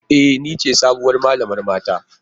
E! Ni ce sabuwar malamar mata.